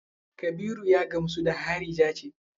Kabiru ya gamsu da harija ce?